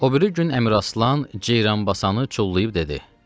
O biri gün Əmiraslan Ceyranbasanı çullayıb dedi: